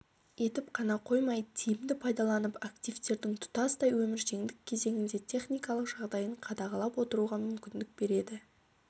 етіп қана қоймай тиімді пайдаланып активтердің тұтастай өміршеңдік кезеңінде техникалық жағдайын қадағалап отыруға мүмкіндік береді